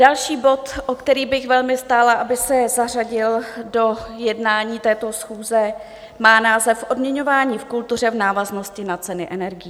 Další bod, o který bych velmi stála, aby se zařadil do jednání této schůze, má název Odměňování v kultuře v návaznosti na ceny energií.